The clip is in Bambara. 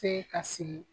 Se ka sigi